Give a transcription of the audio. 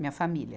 Minha família.